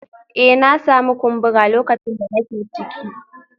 Eh na sami kumbura lokacin da nake ciki